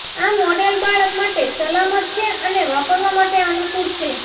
આ મોડેલ બાળક માટે સલામત છે અને વાપરવા માટે અનુકૂળ છે